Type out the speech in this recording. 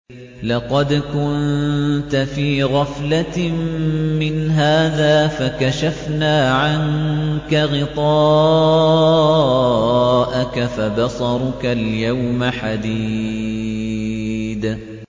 لَّقَدْ كُنتَ فِي غَفْلَةٍ مِّنْ هَٰذَا فَكَشَفْنَا عَنكَ غِطَاءَكَ فَبَصَرُكَ الْيَوْمَ حَدِيدٌ